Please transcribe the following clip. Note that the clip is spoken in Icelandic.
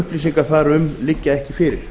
upplýsingar þar um liggja ekki fyrir